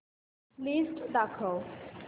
list दाखव